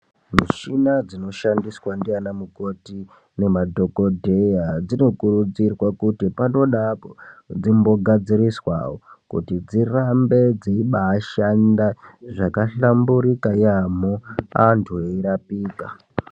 Mishina dzino shandiswa ndiana mukoti nema dhokodeya dzino kurudzirwa kuti pano neapo dzimbo gadziriswa kuti dzirambe dzeibaashanda zvaka hlamburika yaampho antu eirapika.